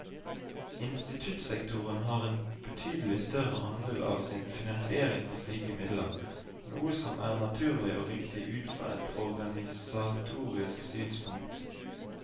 Instituttsektoren har en betydelig større andel av sin finansiering fra slike midler, noe som er naturlig og riktig ut fra et organisatorisk synspunkt.